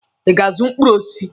Ị ga-azụ mkpụrụ osisi?